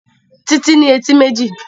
Títí ní etí méjì